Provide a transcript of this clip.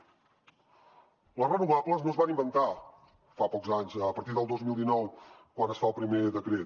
les renovables no es van inventar fa pocs anys a partir del dos mil dinou quan es fa el primer decret